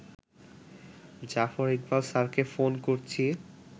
জাফর ইকবাল স্যারকে ফোন করছি